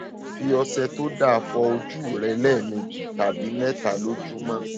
fi ọṣẹ tó dáa fọ ojú rẹ lẹẹmejì tàbí mẹta lójúmọ